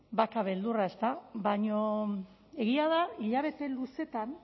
badauka beldurra ezta baina egia da hilabete luzeetan